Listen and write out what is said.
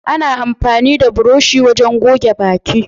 Ana amfani da burushi wurin goge baki.